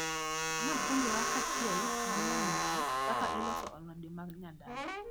Napuonjra kachiel gi nyaminwa kaka iloso alode ma nyadala.